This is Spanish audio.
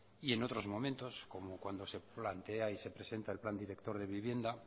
y en otros momentos como cuando se plantea y se presenta el plan director de vivienda